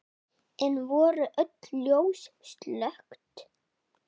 Enn voru öll ljós slökkt.